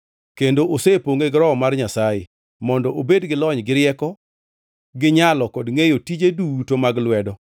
kendo osepongʼe gi Roho mar Nyasaye, mondo obed gi lony, gi rieko, gi nyalo kod ngʼeyo tije duto mag lwedo;